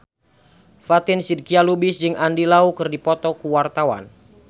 Fatin Shidqia Lubis jeung Andy Lau keur dipoto ku wartawan